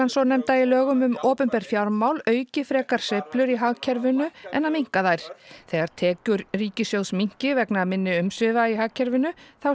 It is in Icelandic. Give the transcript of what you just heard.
svonefnda í lögum um opinber fjármál auki frekar sveiflur í hagkerfinu en minnki þær þegar tekjur ríkissjóðs minnki vegna minni umsvifa í hagkerfinu þá